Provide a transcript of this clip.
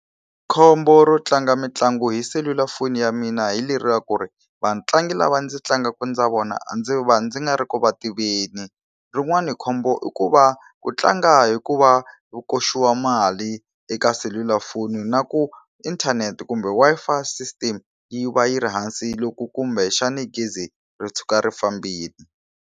Khombo ro tlanga mitlangu hi selulafoni ya mina hi leri ra ku ri vatlangi lava ndzi tlangaka na vona a ndzi va ndzi nga ri ku va tiveni. Rin'wani khombo i ku va ku tlanga hikuva u koxiwa mali eka selulafoni na ku inthanete kumbe Wi-Fi system yi va yi ri hansi loko kumbexana gezi ro tshuka ri fambile.